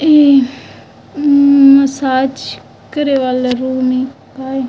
ये उम मसाज करे वाला रूम हे का--